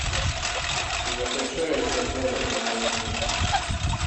закачай из багдада в прямом эфире